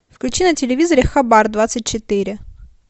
включи на телевизоре хабар двадцать четыре